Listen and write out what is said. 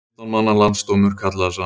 Fimmtán manna landsdómur kallaður saman